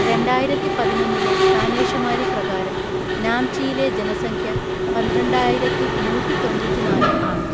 രണ്ടായിരത്തിപതിനൊന്നിലെ കാനേഷുമാരി പ്രകാരം നാംചിയിലെ ജനസംഖ്യ പന്ത്രണ്ടായിരത്തിനൂറ്റിതൊണ്ണൂറ്റിനാല് ആണ്.